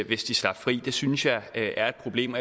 hvis det slap fri det synes jeg er et problem